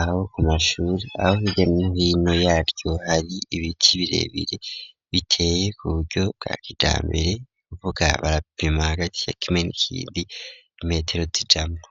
aho ku mashuri ,aho hirya nohino yaryo hari ibiti birebire biteye kuburyo bwa kijambere ,nukuvuga barapima hagati ya kimwe n'ikindi imetero zijamwo.